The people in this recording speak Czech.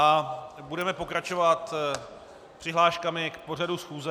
A budeme pokračovat přihláškami k pořadu schůze.